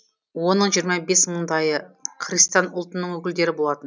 оның жиырма бес мыңдайы христиан ұлтының өкілдері болатын